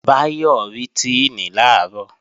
Báyọ̀ rí Tíìnì làárọ̀